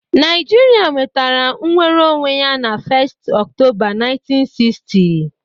Naijiria nwetara nnwere onwe ya na 1st Octoba 1960